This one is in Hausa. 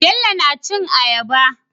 Bello na cin ayaba